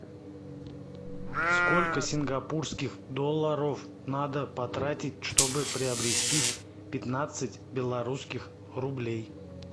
сколько сингапурских долларов надо потратить чтобы приобрести пятнадцать белорусских рублей